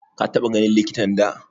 Ka taɓa ganin likitan da?